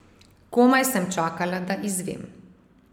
Komaj sem čakala, da izvem.